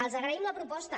els agraïm la proposta